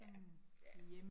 Ja, ja